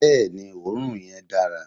Bẹẹni, òorún yen dàrá